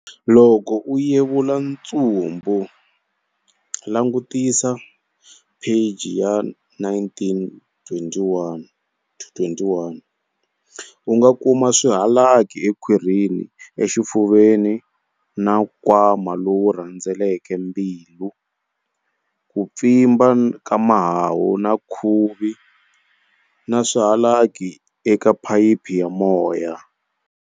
Loko u yevula ntsumbu, langutisa mapheji ya 19-21, u nga kuma swihalaki ekhwirini, exifuveni na nkwama lowu rhendzelaka mbilu, ku pfimba ka mahahu na khuvi, na swihalaki eka phayiphi ya moya.